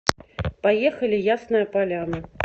поехали ясная поляна